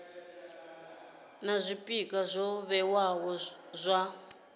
na zwpikwa zwo vhewaho zwa